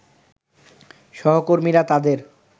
সহকর্মীরা তাদের